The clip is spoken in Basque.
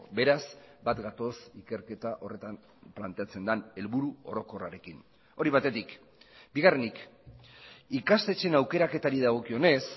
beraz bat gatoz ikerketa horretan planteatzen den helburu orokorrarekin hori batetik bigarrenik ikastetxeen aukeraketari dagokionez